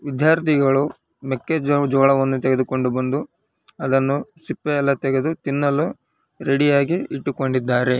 ವಿದ್ಯಾರ್ಥಿಗಳು ಮೆಕ್ಕೆಜೋ ಜೋಳವನ್ನು ತೆಗೆದುಕೊಂಡು ಬಂದು ಅದನ್ನು ಸಿಪ್ಪೆ ಎಲ್ಲಾ ತೆಗೆದು ತಿನ್ನಲು ರೆಡಿ ಯಾಗಿ ಇಟ್ಟುಕೊಂಡಿದ್ದಾರೆ.